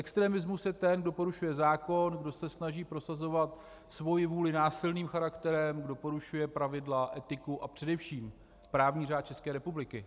Extremista je ten, kdo porušuje zákon, kdo se snaží prosazovat svoji vůli násilným charakterem, kdo porušuje pravidla, etiku a především právní řád České republiky.